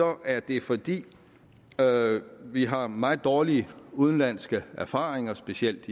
er det fordi vi har meget dårlige udenlandske erfaringer specielt